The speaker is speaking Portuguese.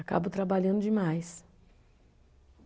Acabo trabalhando demais.